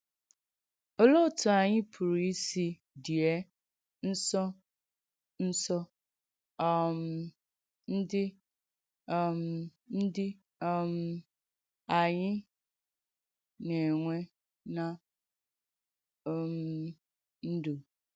Òlee òtù ányị̀ pùrù ìsì diè ǹsọ̀ǹsọ̀ um ndí um ndí um ànyị̀ na-enwe ná um ndú?